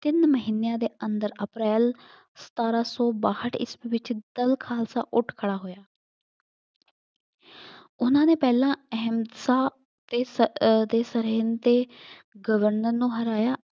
ਤਿੰਨ ਮਹੀਨਿਆਂ ਦੇ ਅੰਦਰ ਅਪ੍ਰੈਲ ਸਤਾਰਾਂ ਸੌ ਬਾਹਠ ਈਸਵੀ ਵਿੱਚ ਦਲ ਖਾਲਸਾ ਉੱਠ ਖੜਾ ਹੋਇਆ। ਉਹਨਾ ਨੇ ਪਹਿਲਾ ਅਹਿੰਸਾ ਅਤੇ ਸ ਅਹ ਸਰਹਿੰਦ ਤੇ ਗਵਰਨਰ ਨੂੰ ਹਰਾਇਆ।